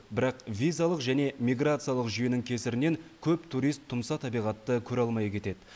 бірақ визалық және миграциялық жүйенің кесірінен көп турист тұмса табиғатты көре алмай кетеді